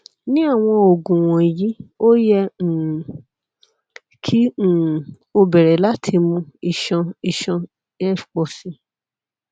kaabo mo jẹ oluranlọwọ oogun nukiliya ati pe a ṣe awọn ayẹwo pet nigbagbogbo